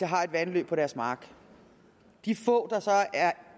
har et vandløb på deres mark de få der så er